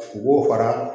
U b'o fara